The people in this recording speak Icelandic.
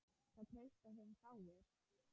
Það treysta þeim fáir.